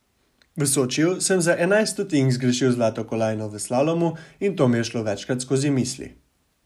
V Sočiju sem za enajst stotink zgrešil zlato kolajno v slalomu in to mi je šlo večkrat skozi misli.